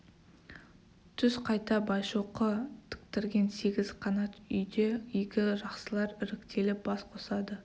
түс қайта байшоқы тіктірген сегіз қанат үйде игі жақсылар іріктеліп бас қосады